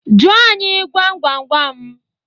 Jụọ anyị gwam gwam gwam!